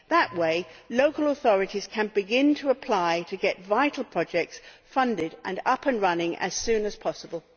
That way, local authorities can begin to apply to get vital projects funded and up and running as soon as possible.